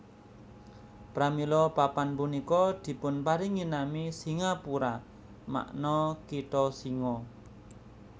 Pramila papan punika dipunparingi nami Singapura makna kitha singa